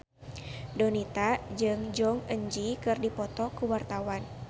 Donita jeung Jong Eun Ji keur dipoto ku wartawan